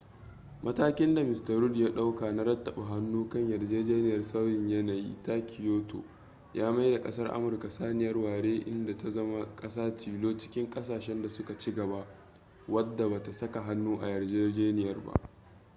matakin da mista rudd ya dauka na rattaba hannu kan yarjejeniyar sauyin yanayi ta kyoto ya maida kasar amurka saniyar ware inda ta zama kasa tilo cikin kasashen da su ka ci gaba wadda ba ta saka hannu a yarjejeniyar ba